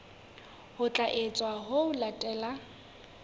ho tla etswa ho latela